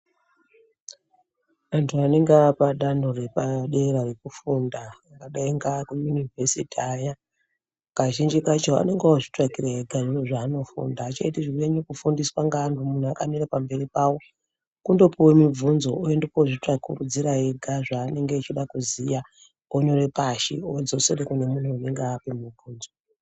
Antu anenge apadanho repadera rekufunda angadai ngakuyunivhesiti aya, kazhinji kacho anozvitsvakira ega zveanofunda, aachanyanyi kuite zvekufundiswa ngeantu, muntu akamire pamberi pavo. Kundopuwe mubvunzo oende kozvitsvakuridzire ega zvaanenge achida kuziya onyore pashi odzosere kune anenge amupe mubvunzo.